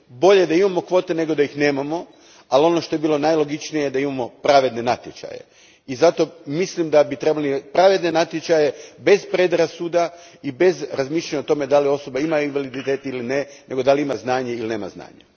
Bolje da imamo kvote nego da ih nemamo, ali ono što bi bilo najlogičnije je da imamo pravedne natječaje i zato mislim da bi trebali pravedne natječaje bez predrasuda i bez razmišljanja o tome da li osoba ima invaliditet ili ne, nego da li ima znanje ili nema znanje.